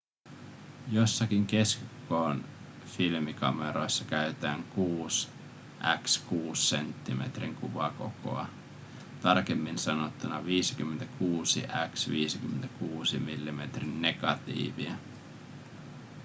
joissakin keskikoon filmikameroissa käytetään 6 × 6 senttimetrin kuvakokoa tarkemmin sanottuna 56 × 56 millimetrin negatiivia